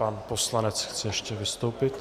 Pan poslanec chce ještě vystoupit.